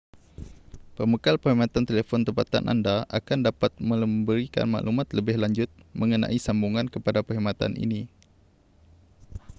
pembekal perkhidmatan telefon tempatan anda akan dapat memberikan maklumat lebih lanjut mengenai sambungan kepada perkhidmatan ini